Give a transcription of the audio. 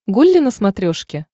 гулли на смотрешке